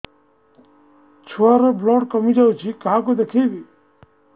ଛୁଆ ର ବ୍ଲଡ଼ କମି ଯାଉଛି କାହାକୁ ଦେଖେଇବି